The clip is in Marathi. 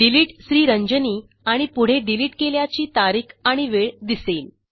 डिलिटेड Sriranjani आणि पुढे डिलिट केल्याची तारीख आणि वेळ दिसेल